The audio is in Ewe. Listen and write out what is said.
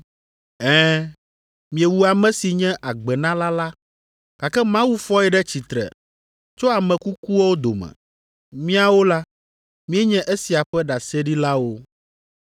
Ɛ̃, miewu ame si nye Agbenala la gake Mawu fɔe ɖe tsitre tso ame kukuwo dome. Míawo la, míenye esia ƒe ɖaseɖilawo.